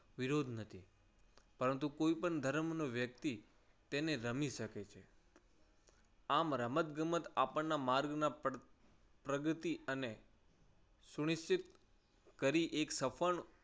વિરોધ નથી. પરંતુ કોઈ પણ ધર્મનો વ્યક્તિ તેને રમી શકે છે. આમ રમત ગમત આપણાના માર્ગના પ્રગતિ અને સુનિશ્ચિત કરી એક સફળ